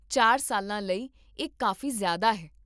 ਚਾਰ ਸਾਲਾਂ ਲਈ, ਇਹ ਕਾਫ਼ੀ ਜ਼ਿਆਦਾ ਹੈ